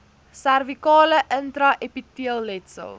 servikale intra epiteelletsel